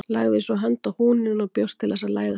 Lagði svo hönd á húninn og bjóst til að læðast fram.